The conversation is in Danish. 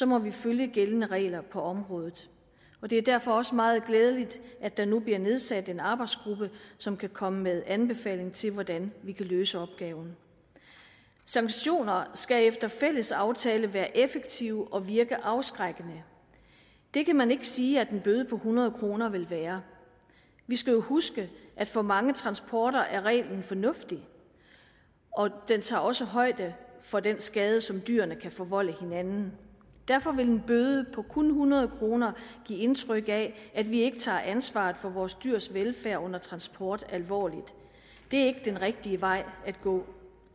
må vi følge gældende regler på området det er derfor også meget glædeligt at der nu bliver nedsat en arbejdsgruppe som kan komme med anbefalinger til hvordan vi kan løse opgaven sanktioner skal efter fælles aftale være effektive og virke afskrækkende det kan man ikke sige at en bøde på hundrede kroner vil være vi skal jo huske at for mange transporter er reglen fornuftig og den tager også højde for den skade som dyrene kan forvolde hinanden derfor vil en bøde på kun hundrede kroner give indtryk af at vi ikke tager ansvaret for vores dyrs velfærd under transport alvorligt det er ikke den rigtige vej at gå